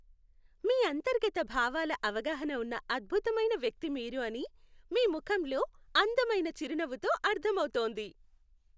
మీ అంతర్గత భావాల అవగాహన ఉన్న అద్భుతమైన వ్యక్తి మీరు అని మీ ముఖంలో అందమైన చిరునవ్వుతో అర్ధం అవుతోంది.